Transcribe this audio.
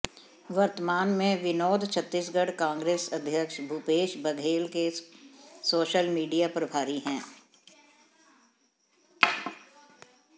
वर्तमान में विनोद छत्तीसगढ़ कांग्रेस अध्यक्ष भूपेश बघेल के सोशल मीडिया प्रभारी हैं